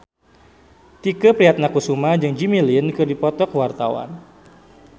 Tike Priatnakusuma jeung Jimmy Lin keur dipoto ku wartawan